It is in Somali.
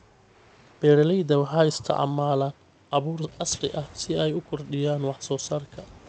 Beeralayda waxay isticmaalaan abuur casri ah si ay u kordhiyaan wax soo saarka.